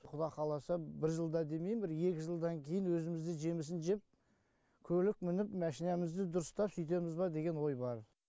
құда қаласа бір жылда демейм бір екі жылдан кейін өзіміз де жемісін жеп көлік мініп машинамызды дұрыстап сөйтеміз ба деген ой бар